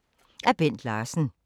Af Bent Larsen